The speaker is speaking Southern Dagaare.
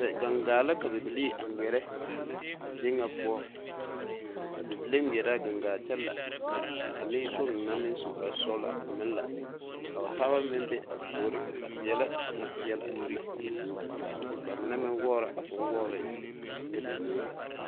Gaŋgaa la ka bibilii a ŋmeɛrɛ a zie ŋa poɔ a bibile ŋmeɛrɛ la a gaŋgaa kyɛ la ka a nenkpoŋ na meŋ su kparesɔglaa a meŋ la o taaba meŋ be a puori a peɛlɛ a bonpeɛle a eŋnɛ ka ba mine meŋ wɔgrɔ bonwɔgre ane ba nuure.